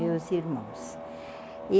Meus irmãos.